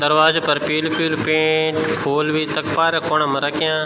दरवाजा पर पीलू-पीलू पेंट फूल बि तख पारा कूणा पर रख्यां।